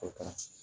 O ka ci